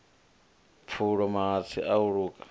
pfulo mahatsi a u luka